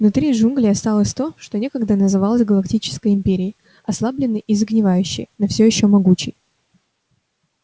внутри джунглей осталось то что некогда называлось галактической империей ослабленной и загнивающей но все ещё могучей